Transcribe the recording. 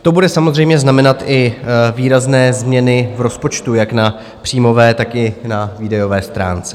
To bude samozřejmě znamenat i výrazné změny v rozpočtu jak na příjmové, tak i na výdajové stránce.